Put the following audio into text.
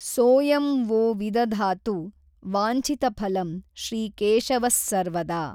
ಸೋsಯಂ ವೋ ವಿದಧಾತು ವಾಂಛಿತಫಲಂ ಶ್ರೀಕೇಶವಸ್ಸರ್ವದಾ।